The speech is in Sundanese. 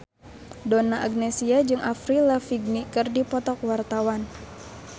Donna Agnesia jeung Avril Lavigne keur dipoto ku wartawan